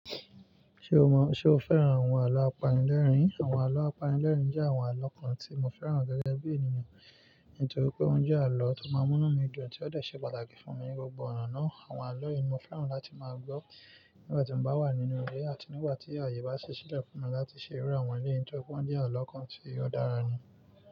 Ṣé o mọ, ṣe o fẹ́ràn àwọn àlọ́ apanilẹ́rìn? Àwọn àlọ́ apanilẹ́rìn jẹ́ àwọn àlọ́ kan tí mo fẹ́ràn gẹ́gẹ́ bí ènìyàn, nítorí pé oúnjẹ àlọ́ tó máa mú mí dùn tí ó dẹ̀ ṣe pàtàkì fún mi ní gbogbo ọ̀nà náà. Àwọn àlọ́ yìí ni mo fẹ́ràn láti máa gbọ́ nígbà tí mo bá wà nínú ilé àti nígbà tí ààyè bá si sílẹ̀ fún mi láti ṣe ìrú àwọn ilé nítorí pé wọ́n jẹ́ àlọ́ kan tí ó dára ni.